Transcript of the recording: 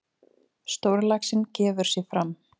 Stórlaxinn gefur sig fram.